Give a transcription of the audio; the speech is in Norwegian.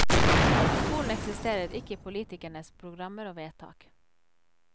Skolen eksisterer ikke i politikernes programmer og vedtak.